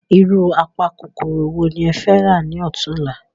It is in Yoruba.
Irú apa kòkòrò wo ni ẹ fẹ̀ rà ni ọ̀túnla?